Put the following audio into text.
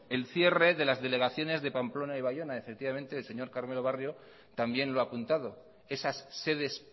el cierre de las delegaciones de pamplona y bayona el señor carmelo barrio también lo ha apuntado esas sedes